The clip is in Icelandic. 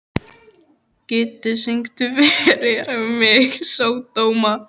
Kittý, syngdu fyrir mig „Sódóma“.